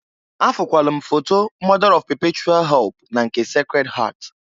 Afụkwalụ m foto Mọda ọf pepechual help na nke Secred Heart..